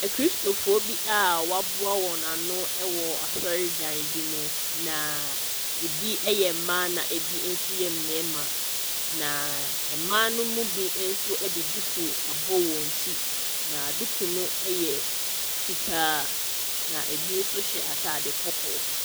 Akristofoɔ bi a wɔaboa wɔn ano wɔ asɔredan bi mu, na ebi yɛ mmaa na ebi nso yɛ mmarima, na mmaa no mu bi nso de duku abɔ wɔn ti, na duku no yɛ fitaa, na ebi nso hyɛ atade kɔkɔɔ.